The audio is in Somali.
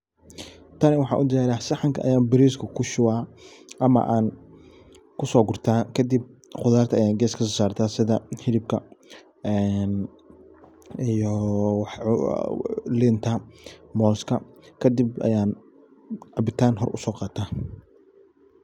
Tan maxan u diyariya sahanka ayan bariska kushuba ama kusogurta kadib khudarta ayan ges kasosarta sidha hilibka, iyo linta, moska kadib ayan cabitan hoor uso qataa.